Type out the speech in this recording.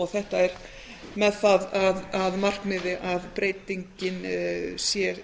þetta er með það að markmiði að breytingin sé